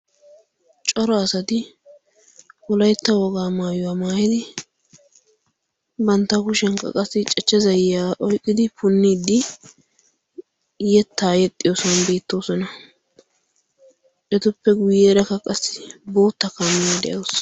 coro asati bolaitta wogaa maayuwaa maaili bantta kushiyan kaqqassi cachcha zayiyaa oiqqidi punniiddi yettaa yexxiyoosuwan beettoosona etuppe guyyeera kaqassi bootta kaamiyaa de7ausu